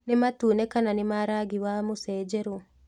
Nĩ matune kana nĩ ma rangi wa mũcenjerũ